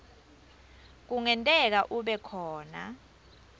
kungenteka kube khona